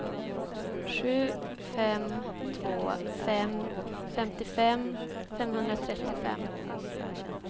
sju fem två fem femtiofem femhundratrettiofem